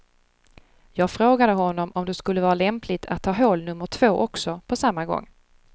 Jag frågade honom om det skulle vara lämpligt att ta hål nummer två också på samma gång.